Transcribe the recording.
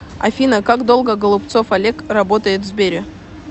афина как долго голубцов олег работает в сбере